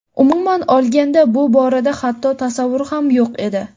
Umuman olganda bu borada hatto tasavvur ham yo‘q edi.